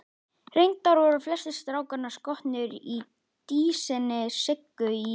Reyndar voru flestir strákanna skotnir í dísinni Siggu í